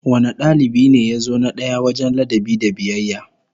Wane dalibi ne ya zo na daya wajen ladabi da biyayya?